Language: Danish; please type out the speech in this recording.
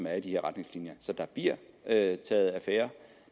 er i de her retningslinjer så der bliver taget affære